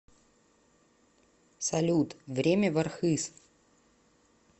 салют время в архыз